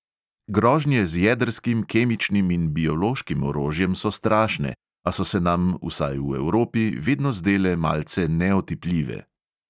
Grožnje z jedrskim, kemičnim in biološkim orožjem so strašne, a so se nam, vsaj v evropi, vedno zdele malce neotipljive.